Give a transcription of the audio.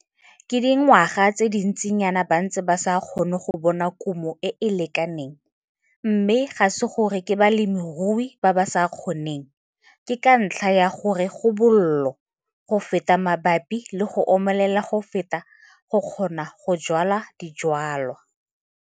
Ke dingwaga tse dintsinyana ba ntse ba sa kgone go bona kumo e e lekaneng, mme ga se gore ke balemirui ba ba sa kgoneng, ke ka ntlha ya gore go bollo go feta mabapi le go omelela go feta go kgona go jwala dijwalwa.